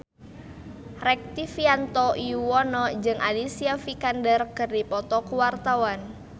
Rektivianto Yoewono jeung Alicia Vikander keur dipoto ku wartawan